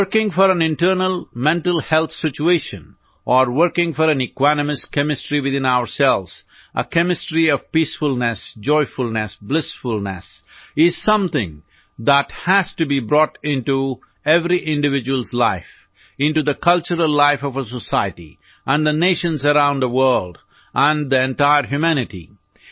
working for an internal mental health situation or working for an equanimous chemistry within ourselves a chemistry of peacefulness joyfulness blissfulness is something that has to be brought into every individual's life into the cultural life of a society and the nations around the world and the entire humanity